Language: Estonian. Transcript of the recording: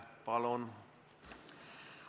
Palun!